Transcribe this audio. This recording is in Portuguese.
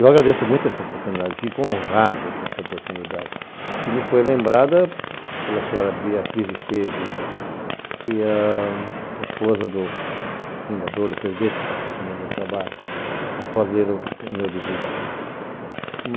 Eu agradeço muito essa oportunidade, fico honrado com essa oportunidade, que me foi lembrada pela senhora Beatriz Esteve e a esposa do fundador, do presidente da companhia onde eu trabalho, após ler o meu livrinho lá.